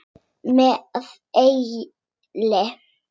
Með elli.